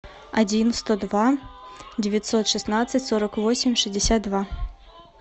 один сто два девятьсот шестнадцать сорок восемь шестьдесят два